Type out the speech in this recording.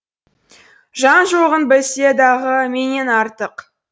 жан жоғын білсе дағы менен артық